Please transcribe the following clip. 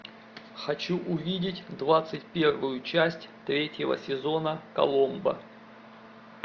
хочу увидеть двадцать первую часть третьего сезона коломбо